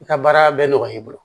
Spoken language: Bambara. I ka baara bɛ nɔgɔya i bolo